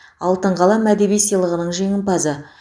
алтын қалам әдеби сыйлығының жеңімпазы